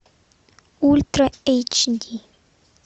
ультра эйч ди